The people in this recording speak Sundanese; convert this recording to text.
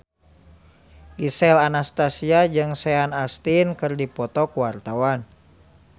Gisel Anastasia jeung Sean Astin keur dipoto ku wartawan